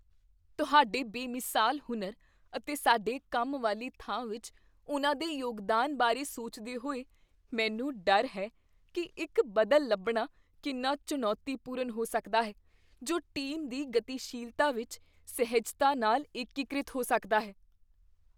ਤੁਹਾਡੇ ਬੇਮਿਸਾਲ ਹੁਨਰ ਅਤੇ ਸਾਡੇ ਕੰਮ ਵਾਲੀ ਥਾਂ ਵਿੱਚ ਉਨ੍ਹਾਂ ਦੇ ਯੋਗਦਾਨ ਬਾਰੇ ਸੋਚਦੇ ਹੋਏ, ਮੈਨੂੰ ਡਰ ਹੈ ਕੀ ਇੱਕ ਬਦਲ ਲੱਭਣਾ ਕਿੰਨਾ ਚੁਣੌਤੀਪੂਰਨ ਹੋ ਸਕਦਾ ਹੈ ਜੋ ਟੀਮ ਦੀ ਗਤੀਸ਼ੀਲਤਾ ਵਿੱਚ ਸਹਿਜਤਾ ਨਾਲ ਏਕੀਕ੍ਰਿਤ ਹੋ ਸਕਦਾ ਹੈ।